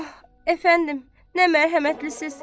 Ah, əfəndim, nə mərhəmətlisiz!